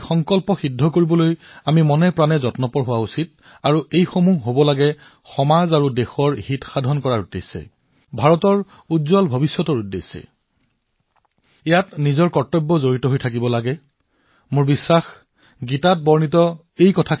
সেই সংকল্পবোৰ সিদ্ধ কৰিবলৈ সমাজৰ কল্যাণৰ বাবে সংকল্প লওক দেশৰ ভালৰ বাবে ভাৰতৰ উজ্জ্বল ভৱিষ্যতৰ বাবে সংকল্প গ্ৰহণ কৰক আৰু সেই সংকল্পত মোৰ নিজৰ কিবা নহয় কিবা এটা দায়িত্ব থাকক কৰ্তব্য ভাৱ থাকক